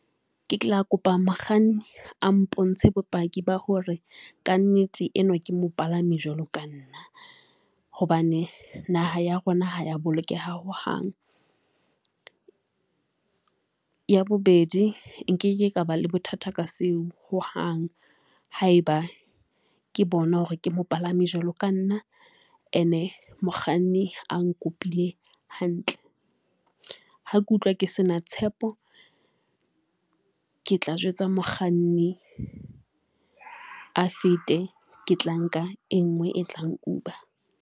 Ke tla kopa mokganni a mpontshe bopaki ba hore kannete enwa ke mopalami jwalo ka nna, hobane naha ya rona ha ya bolokeha hohang. Ya bobedi, nkeke ka ba le bothata ka seo hohang haeba ke bona hore ke mo palame jwalo ka nna ene mokganni a nkopile hantle. Ha ke utlwa ke sena tshepo, ke tla jwetsa mokganni a fete ke tla nka e nngwe e tlang Uber.